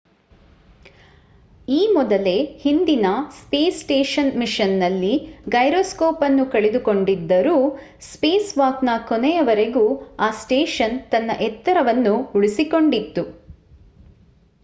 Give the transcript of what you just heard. ಈ ಮೊದಲೇ ಹಿಂದಿನ ಸ್ಪೇಸ್ ಸ್ಟೇಷನ್ ಮಿಷನ್‌ನಲ್ಲಿ ಗೈರೊಸ್ಕೋಪ್‍‌ ಅನ್ನು ಕಳೆದುಕೊಂಡಿದ್ದರೂ ಸ್ಪೇಸ್‍‌ವಾಕ್‍‌ನ ಕೊನೆಯವರೆಗೂ ಆ ಸ್ಟೇಷನ್ ತನ್ನ ಎತ್ತರವನ್ನು ಉಳಿಸಿಕೊಂಡಿತ್ತು